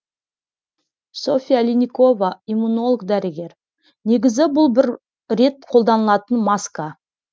софья линникова иммунолог дәрігер негізі бұл бір рет қолданылатын маска